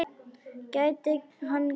Gæti hann staðist hana?